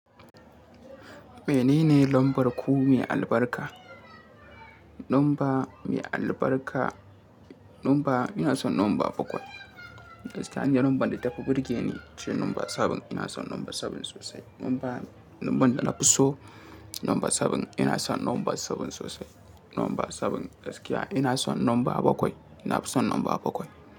Menene lambar ku mai albarka? Lamba mai albarka, lamba ina son lamba bakwai. Gaskiya ni lambar da ta fi burge ni ce lamba seven. Ina son lamba seven sosai. Lamba, lambar da na fi so lamba sabin. Ina son lamba sabin sosai. Lamba sabin gaskiya. Ina son lamba bakwai. Na fi son lamba bakwai.